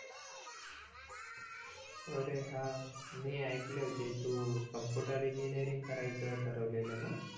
अरे हा मी ऐकल होत तू कॉम्पुटर इंजिनीरिंग करायचं ठरवले ना